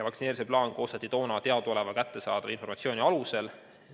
Vaktsineerimise plaan koostati toona teadaoleva, kättesaadava informatsiooni alusel.